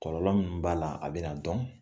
Kɔlɔlɔ min b'a la a bɛna dɔn.